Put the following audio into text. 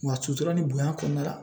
Wa sutura ni bonya kɔnɔna la